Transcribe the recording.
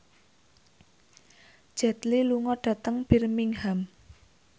Jet Li lunga dhateng Birmingham